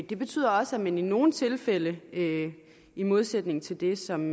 det betyder også at man i nogle tilfælde i modsætning til det som